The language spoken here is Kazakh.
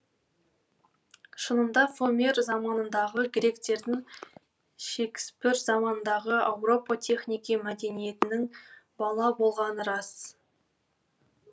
шынында фомер заманындағы гректердің шекіспір заманындағы ауропа технике мәдениетінің бала болғаны рас